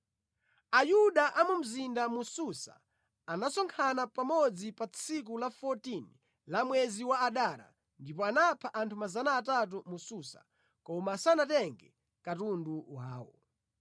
Ayuda a mu mzinda wa Susa anasonkhana pamodzi pa tsiku la 14 la mwezi wa Adara ndipo anapha anthu 300 mu Susa, koma sanatenge katundu wawo.